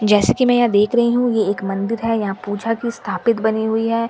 जैसे की मैं यहां देख रही हूं ये एक मंदिर है यहां पूजा की स्थापित बनी हुई है।